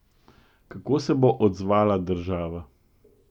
Kako se bo odzvala država?